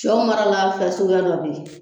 Cɛw marala fɛn suguya dɔ bɛ ye.